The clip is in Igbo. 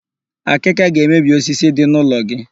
Akịka ga-emebi osisi dị n'ụlọ gị.